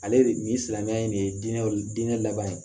Ale nin silamɛya in de ye diinɛ laban ye